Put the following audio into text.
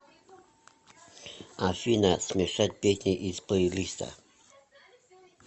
афина смешать песни из плейлиста